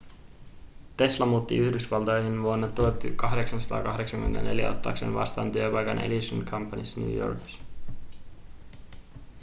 tesla muutti yhdysvaltoihin vuonna 1884 ottaakseen vastaan työpaikan edison companyssa new yorkissa